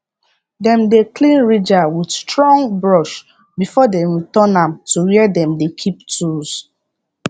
dem dey clean ridger with strong brush before dem return am to where dem dey keep tools